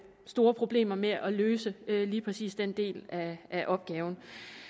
store problemer med at løse lige præcis den del af opgaven